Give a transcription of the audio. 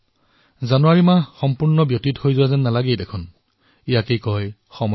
গমেই নাপালো যে জানুৱাৰী মাহটো পাৰ হৈ গল সময়ৰ গতি ইয়াকেই কোৱা হয়